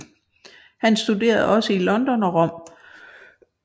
Han studerede også i London og Rom